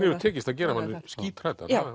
hefur tekist að gera mann